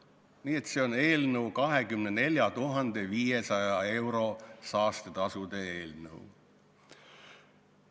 Nii et see on 24 500 euro suuruse saastetasu eelnõu.